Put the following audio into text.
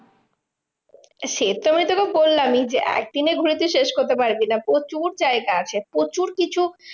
সেতো আমি তোকে বললামই যে, একদিনে ঘুরে তুই শেষ করতে পারবি না, প্রচুর জায়গা আছে। প্রচুর কিছু